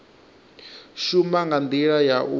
shuma nga ndila ya u